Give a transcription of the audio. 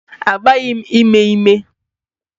Mba, agbaghị m ime ime.